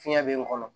Fiɲɛ be n kɔnɔ